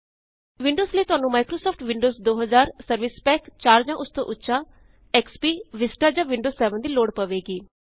Windows ਲਈ ਤੁਹਾਨੂੰ Microsoft Windows 2000 service pack 4 ਜਾਂ ਉਸ ਤੋਂ ਉੱਚਾ ਐਕਸਪੀ ਵਿਸਤਾ ਜਾਂ ਵਿੰਡੋਜ਼ 7 ਦੀ ਲੋੜ ਪਵੇਗੀ